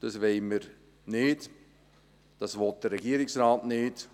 – Das wollen wir nicht, das will der Regierungsrat nicht.